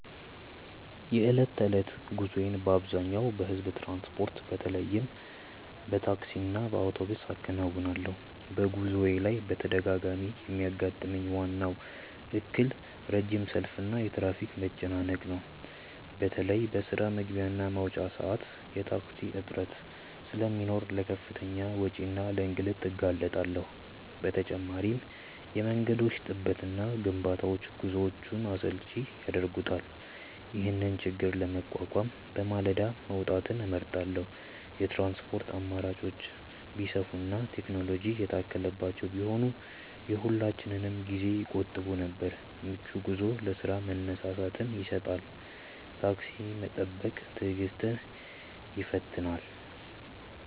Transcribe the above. የዕለት ተዕለት ጉዞዬን በአብዛኛው በሕዝብ ትራንስፖርት፣ በተለይም በታክሲና በአውቶቡስ አከናውናለሁ። በጉዞዬ ላይ በተደጋጋሚ የሚያጋጥመኝ ዋናው እክል ረጅም ሰልፍና የትራፊክ መጨናነቅ ነው። በተለይ በስራ መግቢያና መውጫ ሰዓት የታክሲ እጥረት ስለሚኖር ለከፍተኛ ወጪና ለእንግልት እንጋለጣለን። በተጨማሪም የመንገዶች ጥበትና ግንባታዎች ጉዞውን አሰልቺ ያደርጉታል። ይህንን ችግር ለመቋቋም በማለዳ መውጣትን እመርጣለሁ። የትራንስፖርት አማራጮች ቢሰፉና ቴክኖሎጂ የታከለባቸው ቢሆኑ የሁላችንንም ጊዜ ይቆጥቡ ነበር። ምቹ ጉዞ ለስራ መነሳሳትን ይሰጣል። ታክሲ መጠበቅ ትዕግስትን ይፈትናል።